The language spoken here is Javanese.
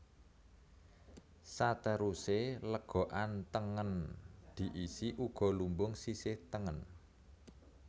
Satèrusé lègokan tèngèn diisi ugo lumbung sisih tèngèn